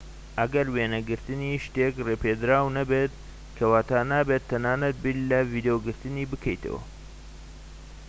ئەگەر وێنەگرنتی شتێك ڕێپێدراو نەبێت کەواتە نابێت تەنانەت بیر لە ڤیدۆگرتنی بکەیتەوە